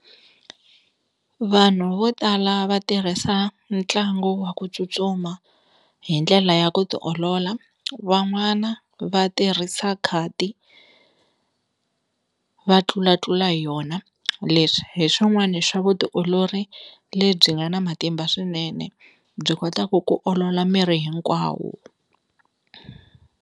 Vanhu vo tala va tirhisa ntlangu wa ku tsutsuma hi ndlela ya ku ti olola van'wana va tirhisa khadi va tlulatlula hi yona leswi hi swin'wani swa vutiolori lebyi nga na matimba swinene byi kotaka ku olola miri hinkwawo.